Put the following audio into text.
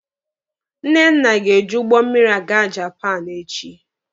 Nnenna ga-eji ụgbọ mmịrị aga Japaapụ echi.